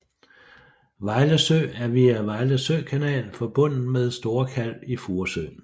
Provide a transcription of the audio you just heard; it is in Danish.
Vejlesø er via Vejlesø kanal forbundet med Store Kalv i Furesøen